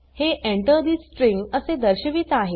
हे Enter ठे string असे दर्शवित आहे